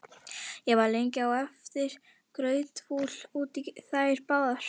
Ég var lengi á eftir grautfúl út í þær báðar.